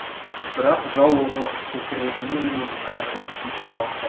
бірақ жау оғы көкірегінен емес аяғынан тиіп аман қал